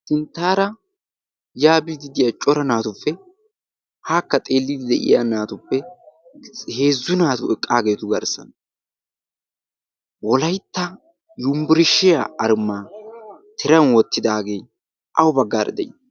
sinttaara yaabididiyaa cora naatuppe haakka xeelliidi de7iya naatuppe heezzu naatu eqqaageetu garssana wolaitta yumbburshiyaa armaa tiran woottidaagee au baggaara de7ii?